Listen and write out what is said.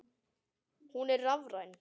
Hún er rafræn.